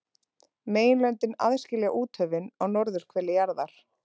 Meginlöndin aðskilja úthöfin á norðurhveli jarðar.